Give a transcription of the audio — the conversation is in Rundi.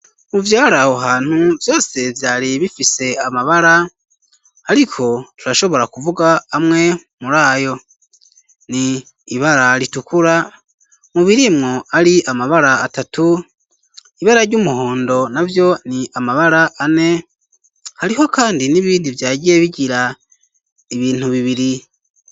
mu vyari aho hantu vyose vyari bifise amabara ariko turashobora kuvuga amwe muri ayo, ni ibara ritukura, mu birimwo ari amabara atatu, ibara ry'umuhondo na vyo ni amabara ane, hariho kandi n'ibindi vyagiye bigira ibintu bibiri.